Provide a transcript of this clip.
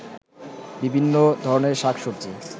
বিভিন্ন ধরনের শাক-সবজি